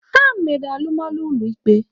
Ha mere alụmalụ ụlọ ikpe.